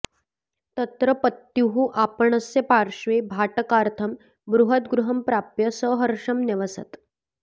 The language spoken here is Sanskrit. तत्र पत्युः आपणस्य पार्श्वे भाटकार्थं बृहद्गृहं प्राप्य सहर्षं न्यवसत्